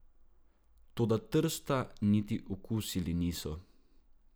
Toda Trsta niti okusili niso.